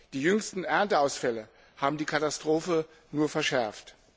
Die jüngsten Ernteausfälle haben die Katastrophe nur verschärft.